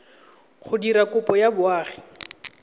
go dira kopo ya boagi